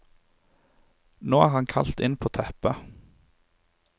Nå er han kalt inn på teppet.